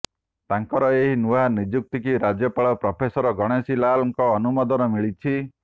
ତାଙ୍କର ଏହି ନୂଆ ନିଯୁକ୍ତିକୁ ରାଜ୍ୟପାଳ ପ୍ରଫେସର ଗଣେଶୀ ଲାଲଙ୍କ ଅନୁମୋଦନ ମିଳିଛି